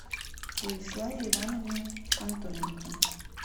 владиславе ивановне антоненко